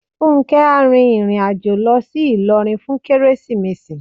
Fúnkẹ́ á rin ìrìn àjò lọ sí Ilorin fún Kérésìmesì.